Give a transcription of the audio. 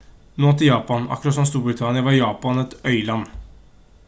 nå til japan akkurat som storbritannia var japan et øyland